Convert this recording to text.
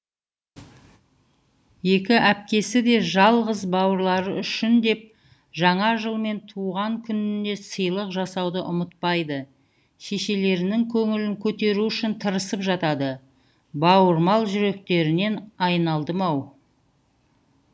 екі әпкесі де жалғыз бауырлары үшін деп жаңа жыл мен туған күнінде сыйлық жасауды ұмытпайды шешелерінің көңілін көтеру үшін тырысып жатады бауырмал жүректеріңнен айналдым ау